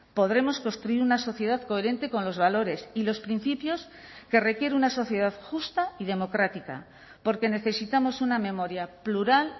podremos construir una sociedad coherente con los valores y los principios que requiere una sociedad justa y democrática porque necesitamos una memoria plural